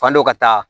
Fan dɔ ka taa